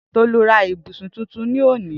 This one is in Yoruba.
Tolu ra ibusun tuntun loni